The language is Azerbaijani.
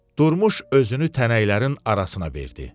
Durmuş özünü tənəklərin arasına verdi.